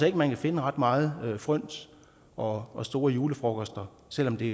ikke man kan finde ret meget fryns og og store julefrokoster selv om det